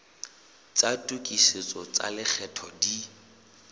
tsa tokisetso tsa lekgetho di